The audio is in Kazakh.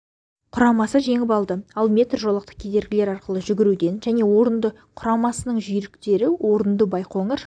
құрамасы жеңіп алды ал метр жолақты кедергілер арқылы жүгіруден және орынды құрамасының жүйріктері орынды байқоңыр